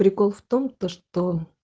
прикол в том то что